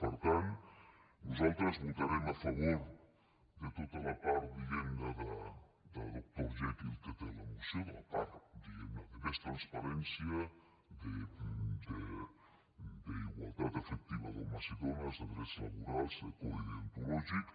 per tant nosaltres votarem a favor de tota la part diguem ne de doctor jekyll que té la moció de la part diguem ne de més transparència d’igualtat efectiva d’homes i dones de drets laborals de codi deontològic